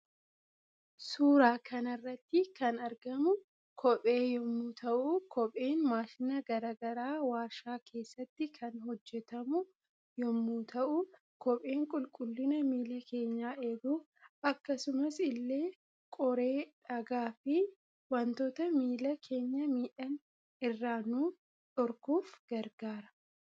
Suuraa kanarratti kan argamu kophee yommuu ta'u kopheen maashina garaa garaa waarshaa keessatti kan hojjetamu yommuu ta'u kopheen qulqullina miila keenyaa eeguuf akkasumas ille qoree, dhagaa fi wantota miila keenya miidhan irra nuu dhorkuuf gargaara